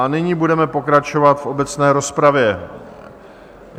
A nyní budeme pokračovat v obecné rozpravě.